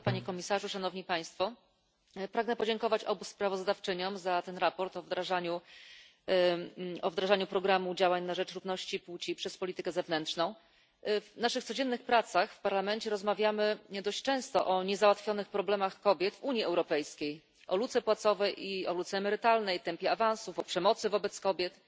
Pani Przewodnicząca! Panie Komisarzu! Szanowni Państwo! Pragnę podziękować obu sprawozdawczyniom za to sprawozdanie o wdrażaniu programu działań na rzecz równości płci przez politykę zewnętrzną. W naszych codziennych pracach w Parlamencie rozmawiamy dość często o niezałatwionych problemach kobiet w Unii Europejskiej, o luce płacowej i o luce emerytalnej, tempie awansów, o przemocy wobec kobiet.